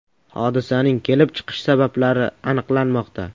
Hodisaning kelib chiqish sabablari aniqlanmoqda.